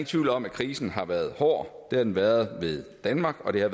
tvivl om at krisen har været hård det har den været ved danmark og det har